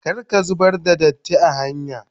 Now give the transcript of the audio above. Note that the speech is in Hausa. Kar ka zubar da datti are hanya.